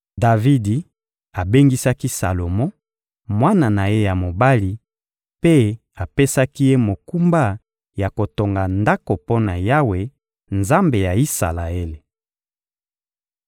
Davidi abengisaki Salomo, mwana na ye ya mobali, mpe apesaki ye mokumba ya kotonga Ndako mpo na Yawe, Nzambe ya Isalaele.